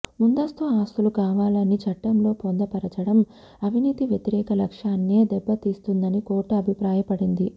ముందస్తు అనుమతి కావాలని చట్టంలో పొందపరచడం అవినీతి వ్యతిరేక లక్ష్యాన్నే దెబ్బతీస్తుందని కోర్టు అభిప్రాయపడింది